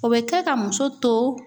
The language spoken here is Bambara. O bɛ kɛ ka muso to